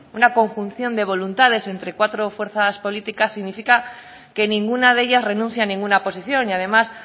una conjunción de voluntades entre cuatro fuerzas políticas significa que ninguna de ellas renuncia a ninguna posición y además